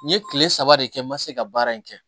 N ye kile saba de kɛ n ma se ka baara in kɛ